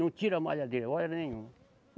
Não tira a malhadeira, hora nenhuma.